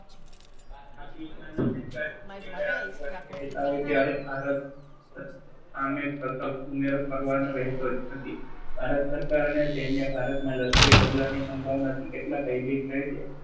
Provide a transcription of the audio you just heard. ત્યારે ભારત સામે ઉમેરો કરવાનો રેહતો જ નથી. ભારત સરકાર અને સૈન્ય ભારતમાં લશ્કરી પગલાની સંભાવનાથી કેટલા ભયભીત રહે છે